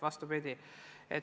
Vastupidi.